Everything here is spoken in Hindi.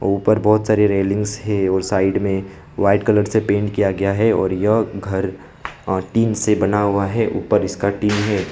ऊपर बहुत सारे रेलिंग्स हैं और साइड में व्हाइट कलर से पेंट किया गया है। और यह घर आ टीन से बना हुआ है। ऊपर इसका टीन है।